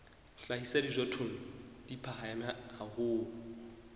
hlahisa dijothollo di phahame haholo